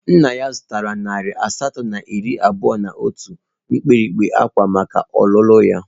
Nna ya zụtara nari asatọ na iri abụọ na otu mpempe ákwá maka ọlụlụ ya.